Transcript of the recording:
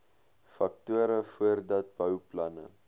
faktore voordat bouplanne